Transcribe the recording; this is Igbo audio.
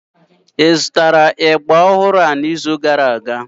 Ị zụtara ịgba ọhụrụ n'izu gara aga?